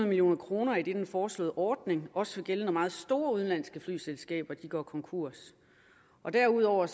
million kr idet den foreslåede ordning også vil gælde når meget store udenlandske flyselskaber går konkurs derudover